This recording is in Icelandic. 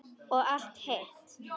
Og allt hitt.